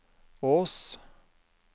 Ås